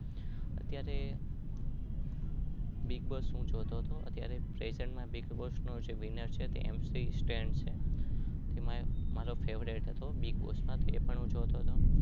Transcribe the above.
અત્યારે બીગ્બોસ્સ હું જોતો હતો એમસી સ્ટેન છે